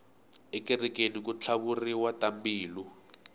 ekerekeni ku tlhavuriwa tambilu